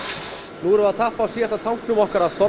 nú erum við að tappa af síðasta tanknum okkar af